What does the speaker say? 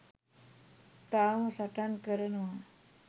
තවම සටන් කරනවා